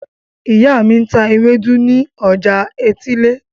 Ìyá mi ń ta ewédú ní ọjà etílé.